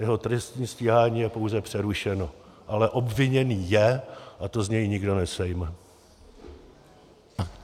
Jeho trestní stíhání je pouze přerušeno, ale obviněný je a to z něj nikdo nesejme.